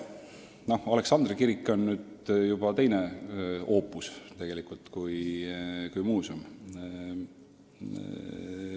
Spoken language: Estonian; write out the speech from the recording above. Noh, Aleksandri kirik on hoopis teine oopus.